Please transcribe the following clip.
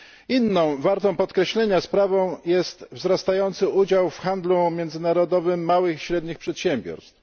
Inną, wartą podkreślenia sprawą jest wzrastający udział w handlu międzynarodowym małych i średnich przedsiębiorstw.